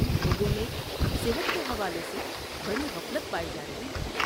لوگوں میں صحت کے حوالے سے بڑی غفلت پائی جا رہی ہے۔